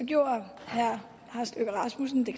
gjorde herre lars løkke rasmussen det